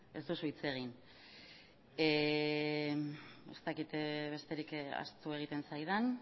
ez duzu hitz egin ez dakit besterik ahaztu egiten zaidan